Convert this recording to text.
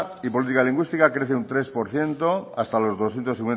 y política lingüística crece un tres por ciento hasta los doscientos